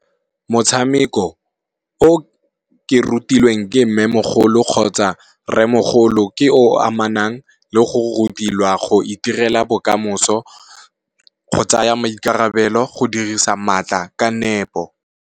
Motshameko o ke rutilweng ke Mmemogolo kgotsa Rremogolo ke o amanang le go rutiwa go itirela bokamoso, go tsaya maikarabelo go dirisa maatla ka nepo.